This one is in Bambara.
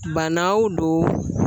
Bana wo don